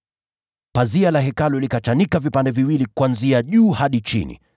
Pazia la Hekalu likachanika vipande viwili kuanzia juu hadi chini.